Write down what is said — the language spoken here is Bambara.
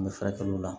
An bɛ furakɛliw la